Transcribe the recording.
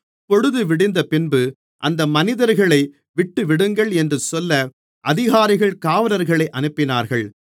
பொழுதுவிடிந்தபின்பு அந்த மனிதர்களை விட்டுவிடுங்கள் என்று சொல்ல அதிகாரிகள் காவலர்களை அனுப்பினார்கள்